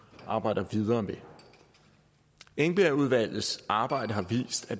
arbejder videre med engbergudvalgets arbejde har vist at